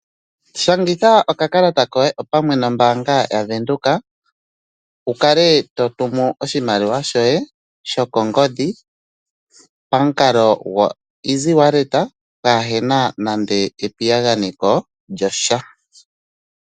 Shangitha okakalata koye opamwe nombaanga yaVenduka, wu kale to tumu oshimaliwa shoye shokongodhi pamukalo go easy wallet pwaa hena nande epiyaganeko lyasha.